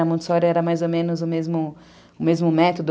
Na Montessori era mais ou menos o mesmo o mesmo método.